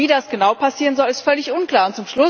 Aber wie das genau passieren soll, ist völlig unklar.